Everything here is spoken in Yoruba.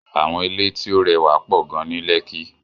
Àwọn ilé tí ó rẹwà pọ̀ gan ní Lẹ́kí.